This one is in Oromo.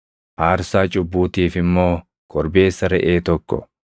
aarsaa cubbuutiif immoo korbeessa reʼee tokko,